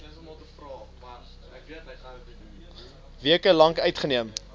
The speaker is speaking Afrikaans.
weke lank uitgeneem